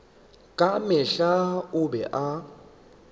ka mehla o be a